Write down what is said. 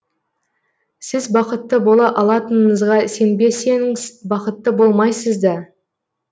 сіз бақытты бола алатыныңызға сенбесеңіз бақытты болмайсыз да